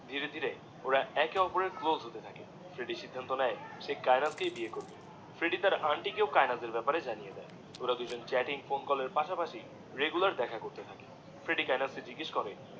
ধীরে ধীরে ওরা একে ওপরের ক্লোস হতে থাকে ফ্রেডি সিদ্ধান্ত নিয়ে যে সে কায়েনাথ কেই বিয়ে করবে ফ্রেডি তার আন্টি কেও কায়েনাথের বেপারে জানিয়ে দিয়ে ওরা দুজন চ্যাটিং, ফোন কলের পাশা পাশি রেগুলার দেখা করতে থাকে ফ্রেডি কায়েনাথ কে জিগেশ করে